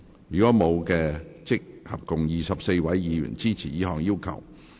如果沒有，合共有24位議員支持這項要求。